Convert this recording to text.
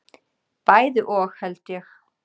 Bæði og held ég.